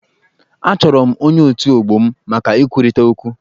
Achọrọ m ọnye otù ọgbọ m maka ikwurịta okwu.